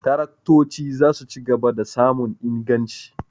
Taraktoci za su ci gaba da samun inganci.